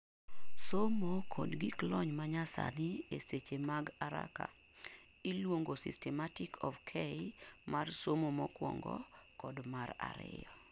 somo kod gik lony manyasani e seche mag araka; iluongo Systematic of K mar somo mokuongo kod mar ariyo